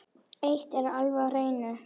Eitt er alveg á hreinu.